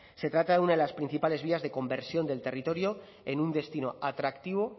se trata de una de las principales vías de conversión del territorio en un destino atractivo